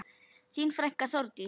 Þín frænka, Þórdís.